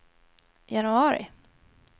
januari